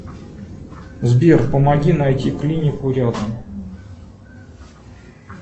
сбер помоги найти клинику рядом